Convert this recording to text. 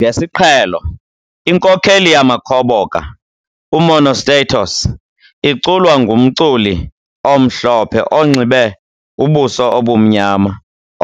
Ngesiqhelo, inkokheli yamakhoboka, uMonostatos, iculwa ngumculi omhlophe onxibe ubuso obumnyama